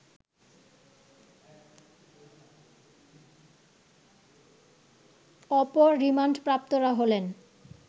অপর রিমান্ডপ্রাপ্তরা হলেন